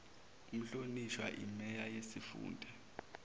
umhlonishwa imeya yesifunda